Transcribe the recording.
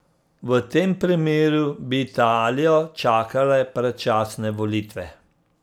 V tem primeru bi Italijo čakale predčasne volitve.